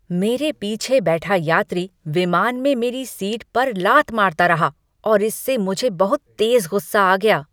मेरे पीछे बैठा यात्री विमान में मेरी सीट पर लात मारता रहा और इससे मुझे बहुत तेज गुस्सा आ गया।